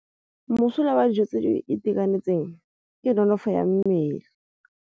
Mosola wa dijô tse di itekanetseng ke nonôfô ya mmele.